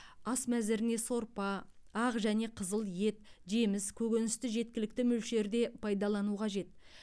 ас мәзіріне сорпа ақ және қызыл ет жеміс көкөністі жеткілікті мөлшерде пайдалану қажет